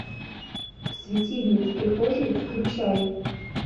светильник в прихожей включай